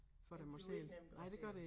Det bliver ikke nemt at sælge